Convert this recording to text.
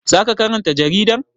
Za ka karanta jaridar?